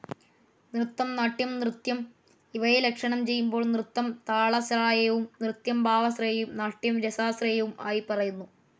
നൃത്തം, നാട്യം, നൃത്യം ഇവയെ ലക്ഷണം ചെയ്യുമ്പോൾ നൃത്തം താളലയാശ്രയവും നൃത്യം ഭാവാശ്രയവും നാട്യം രസാശ്രയവും ആയി പറയുന്നു.